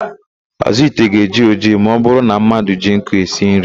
Àzụ́ ite ga-eji ojii ma ọbụrụ na mmadụ ji nkụ esi nri.